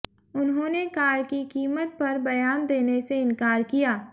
उन्होंने कार की कीमत पर बयान देने से इनकार किया